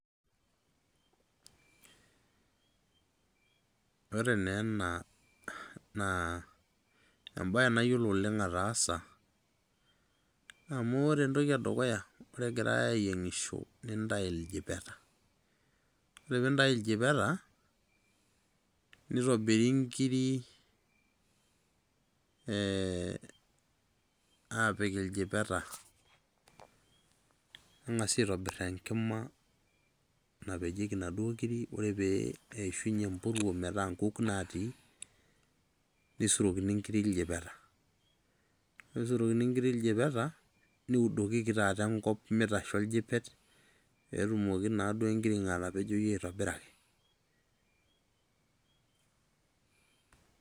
Ore naa ena, naa ebae nayiolo oleng ataasa, amu ore entoki edukuya, ore egirai ayieng'isho, nintayu iljipeta. Ore pintayu iljipeta, nitobiri nkiri apik iljipeta. Neng'asi aitobir enkima napejieki naduo kiri, ore peishunye empuruo metaa nkuk natii, nisurokini nkiri iljipeta. Ore pisurokini nkiri iljipeta, niudokiki taata enkop, mitasho oljipet, petumoki naduo enkiring'o atapejoyu aitobiraki.